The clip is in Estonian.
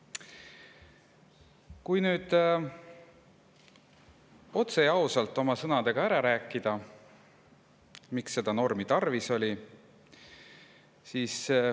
Räägin nüüd otse ja ausalt oma sõnadega ära, miks seda normi tarvis oli.